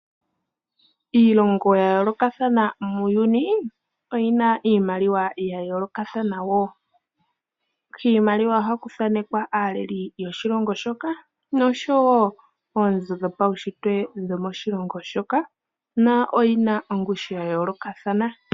Iilongo ya yoolokathana muuyuni oyina iimaliwa ya yoolokathana wo. Kiimaliwa ohaku thaanekwa aaleli yoshilongo shoka noshowo oonzo dhopaushitwe dhomo shilongo shoka, na oyina ongushu ya yayooloka.